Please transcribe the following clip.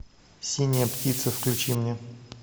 синяя птица включи мне